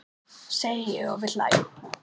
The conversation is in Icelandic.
segi ég og við hlæjum.